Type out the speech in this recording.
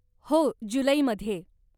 हो, जुलैमध्ये.